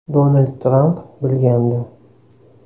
Donald Tramp bilgandi.